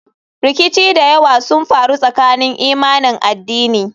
Rikici da yawa sun faru tsakanin imanin addini.